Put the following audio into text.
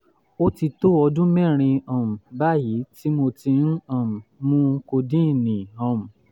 ó ti tó ọdún mẹ́rin um báyìí tí mo ti ń um mu kodíìnì um